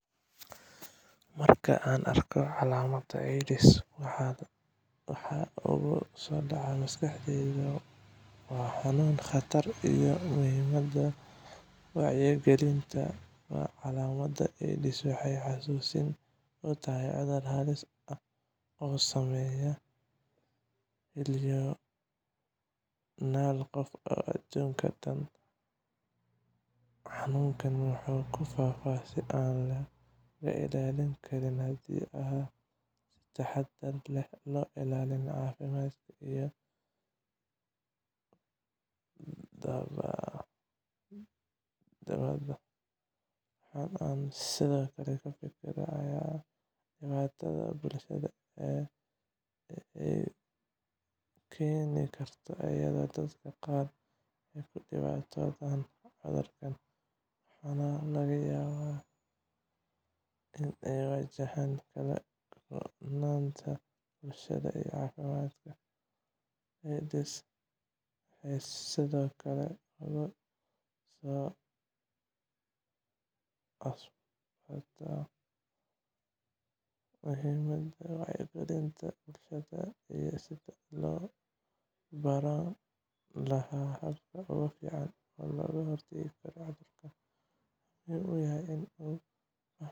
Marka aan arko calaamadda AIDS, waxa igu soo dhacaya maskaxdayda waa xanuun, khatar, iyo muhiimadda wacyigelinta. Calaamadda AIDS waxay xusuusin u tahay cudur halis ah oo saameeya milyoonaal qof adduunka oo dhan. Xanuunkani wuxuu ku faafaa si aan laga ilaalin karin haddii aan si taxadar leh loo ilaalin caafimaadka iyo badbaadada. Waxa aan sidoo kale ka fikiraa dhibaatada bulshada ee ay keeni karto, iyadoo dadka qaar ay ku dhibaatoodaan cudurkan, waxaana laga yaabaa in ay wajahaan kala-goynta bulshada iyo caafimaadka. AIDS waxay sidoo kale igu soo spurtaa muhiimadda wacyigelinta bulshada iyo sidii loo baran lahaa hababka ugu fiican ee looga hortagi karo cudurkan. Waxaa muhiim